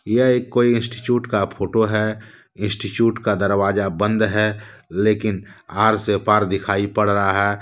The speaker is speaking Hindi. यह एक कोई इंस्टिट्यूट का फोटो है इंस्टिट्यूट का दरवाजा बंद है लेकिन हार से पार दिखाई पड़ रहा है।